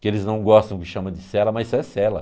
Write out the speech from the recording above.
Que eles não gostam que chama de cela, mas isso é cela.